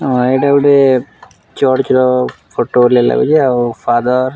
ଅଁ ଏଇଟା ଗୋଟେ ଚର୍ଚ୍ଚର ଫଟୋ ଭଳିଆ ଲାଗୁଛେ ଆଉ ଫାଦର--